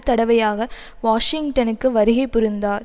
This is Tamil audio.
தடவையாக வாஷிங்டனுக்கு வருகை புரிந்தார்